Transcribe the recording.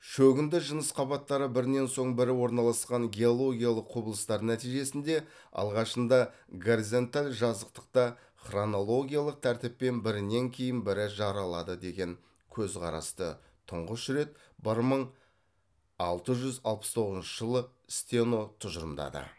шөгінді жыныс қабаттары бірінен соң бірі орналасқан геологиялық құбылыстар нәтижесінде алғашында горизонталь жазықтықта хронологиялық тәртіппен бірінен кейін бірі жаралады деген көзқарасты тұңғыш рет бір мың алты жүз алпыс тоғызыншы жылы стено тұжырымдады